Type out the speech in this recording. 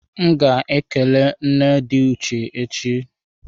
M ga ekele nne di Uche echi.